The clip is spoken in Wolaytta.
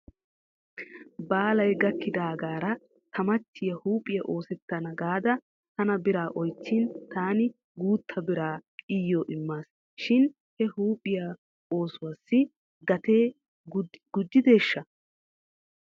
Baalay gakidaagaara ta michchiyaa huuphphiyaa oosettana gaada tana biraa oychchin taani guutta biraa iyyo immaasi shin he huuphphiyaa oosuwaassi gatee gujjideeshsha?